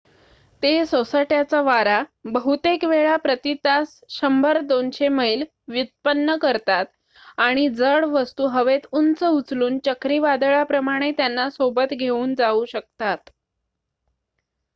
ते सोसाट्याचा वारा बहुतेक वेळा प्रती तास 100-200 मैल व्युत्पन्न करतात आणि जड वस्तू हवेत उंच उचलून चक्रीवादळाप्रमाणे त्यांना सोबत घेऊन जाऊ शकतात